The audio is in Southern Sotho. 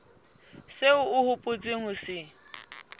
seo o hopotseng ho se